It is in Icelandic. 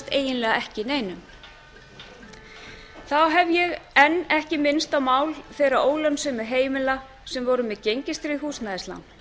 eiginlega ekki neinum þá hef ég enn ekki minnst á mál þeirra ólánssömu heimila sem voru með gengistryggð húsnæðislán